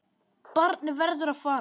Barnið verður að fara.